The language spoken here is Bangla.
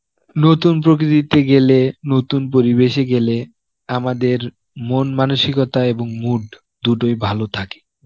নতুন প্রকৃতিতে গেলে, নতুন পরিবেশে গেলে আমাদের মন মানসিকতা এবং mood দুটি ভালো থাকে.